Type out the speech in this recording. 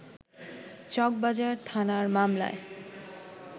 চকবাজার থানার মামলায়